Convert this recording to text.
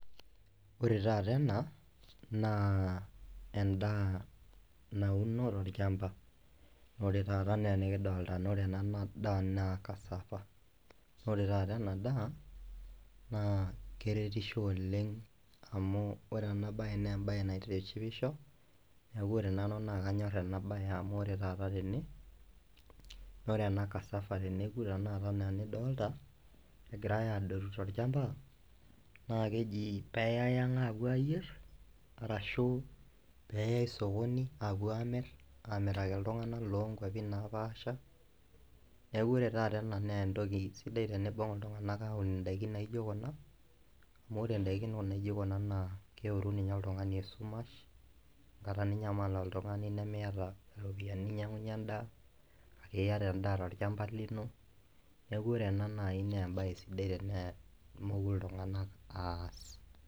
Ore taata ena naa endaa nauno torchamba nore taata nenikidolta naa ore ena daa naa cassava ore taata ena daa naa keretisho oleng amu ore ena baye naa embaye naitishipisho niaku ore nanu naa kenyorr ena baye amu ore taata tene nore ena cassava teneku tenakata enaa enidolta egirae adotu torchamba naa keji peyai ang apuo ayierr arashu peyai sokoni apuo amirr amiraki iltung'anak lonkuapi napaasha neku ore taata ena nentoki sidai tenibung iltung'anak aun indaikin naijo kuna amu ore indaikin naijo kuna naa keoru ninye oltung'ani esumash enkata ninyamal oltung'ani nemiyata iropiyiani ninyiang'unyie endaa kake iyata endaa torchamba lino neku ore ena naaji nembaye sidai tene moku iltung'anak aas.